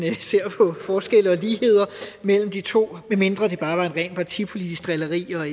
ser på forskelle og ligheder mellem de to medmindre det bare var et rent partipolitisk drilleri og